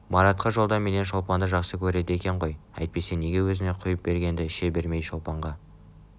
маратқа жолда менен шолпанды жақсы көреді екен ғой әйтпесе неге өзіне құйып бергенді іше бермейді шолпанға